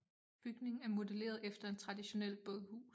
Bygningen er modelleret efter en traditionel bådhus